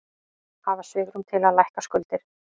Hafa svigrúm til að lækka skuldir